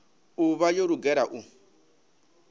u vha yo lugela u